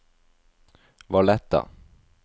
Valletta